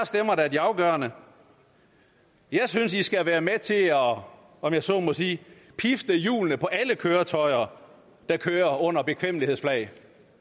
stemmer der er de afgørende jeg synes i skal være med til at om om jeg så må sige pifte hjulene på alle køretøjer der kører under bekvemmelighedsflag